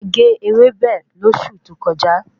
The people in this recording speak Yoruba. A ge ewébẹ̀ lósù tó kọjá